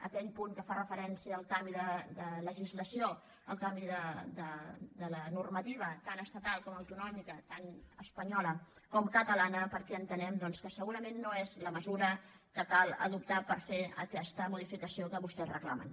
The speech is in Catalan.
aquell punt que fa referència al canvi de legislació al canvi de la normativa tant estatal com autonòmica tant espanyola com catalana perquè entenem doncs que segurament no és la mesura que cal adoptar per fer aquesta modificació que vostès reclamen